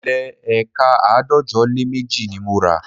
Ilẹ̀ éékà àádọ́jọ lé méjì ni mo rà